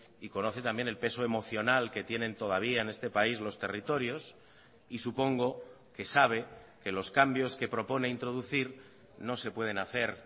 y conoce también el peso emocional que tienen todavía en este país los territorios y supongo que sabe que los cambios que propone introducir no se pueden hacer